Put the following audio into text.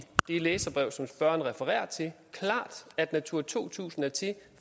det læserbrev som spørgeren refererer til at natura to tusind er til